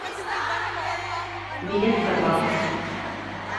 билет табакъ